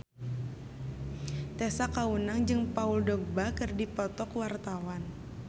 Tessa Kaunang jeung Paul Dogba keur dipoto ku wartawan